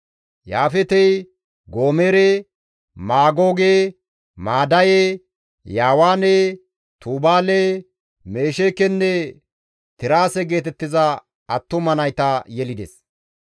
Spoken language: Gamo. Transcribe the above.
Yaafeetey, Goomere, Maagooge, Maadaye, Yaawaane, Tubaale, Mesheekenne Tiraase geetettiza attuma nayta yelides.